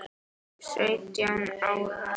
Sautján ára?